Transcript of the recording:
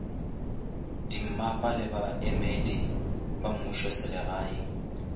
dimmapa le baemedi ba mmušoselegae